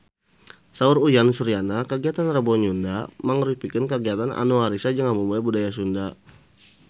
Saur Uyan Suryana kagiatan Rebo Nyunda mangrupikeun kagiatan anu ngariksa jeung ngamumule budaya Sunda